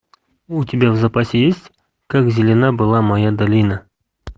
у тебя в запасе есть как зелена была моя долина